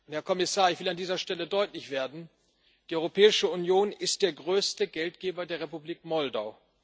Herr Kommissar, ich will an dieser Stelle deutlich werden Die Europäische Union ist der größte Geldgeber der Republik Moldau.